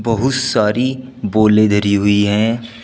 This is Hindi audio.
बहुत सारी बोले धरी हुई है।